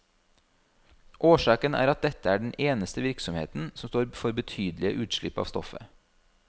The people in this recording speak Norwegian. Årsaken er at dette er den eneste virksomheten som står for betydelige utslipp av stoffet.